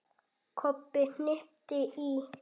Kobbi hnippti í